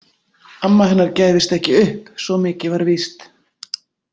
Amma hennar gæfist ekki upp, svo mikið var víst.